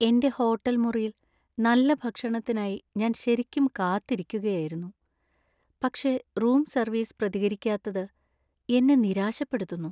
എന്‍റെ ഹോട്ടൽ മുറിയിൽ നല്ല ഭക്ഷണത്തിനായി ഞാൻ ശരിക്കും കാത്തിരിക്കുകയായിരുന്നു, പക്ഷേ റൂം സർവീസ് പ്രതികരിക്കാത്തത് എന്നെ നിരാശപ്പെടുത്തുന്നു.